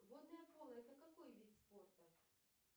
водное поло это какой вид спорта